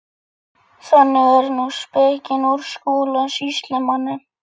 Þannig er nú spekin úr Skúla sýslumanni.